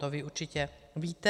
To vy určitě víte.